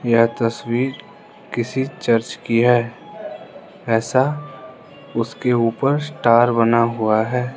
यह तस्वीर किसी चर्च की है ऐसा उसके ऊपर स्टार बना हुआ है।